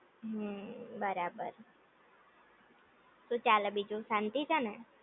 હમ્મ બરાબર, શું ચાલે બીજું શાંતિ છે ને